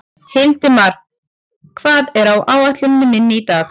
Hildimar, hvað er á áætluninni minni í dag?